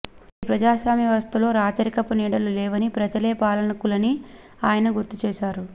నేటి ప్రజాస్వామ్య వ్యవస్థలో రాచరికపు నీడలు లేవని ప్రజలే పాలకులని ఆయన గుర్తు చేశారు